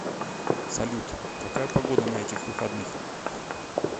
салют какая погода на этих выходных